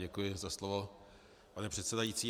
Děkuji za slovo, pane předsedající.